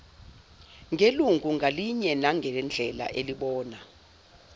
ngelungu ngalinyenangendlela elibona